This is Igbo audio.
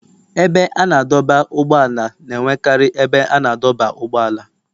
Ebe a na-adọba ụgbọala na-enwekarị ebe a na-adọba ụgbọala.